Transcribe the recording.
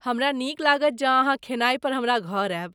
हमरा नीक लागत जँ अहाँ खेनाइ पर हमरा घर आयब।